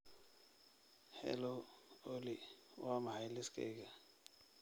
hello olly waa maxay liiskayga